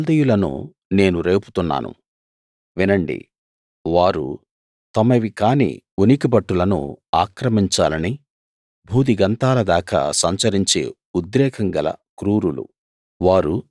కల్దీయులను నేను రేపుతున్నాను వినండి వారు తమవి కాని ఉనికిపట్టులను ఆక్రమించాలని భూదిగంతాలదాకా సంచరించే ఉద్రేకం గల క్రూరులు